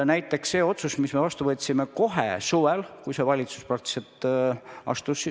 Näiteks see otsus, mille me vastu võtsime kohe suvel, kui see valitsus tööle hakkas.